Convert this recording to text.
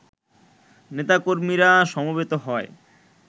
নেতা-কর্মীরা সমবেত হয়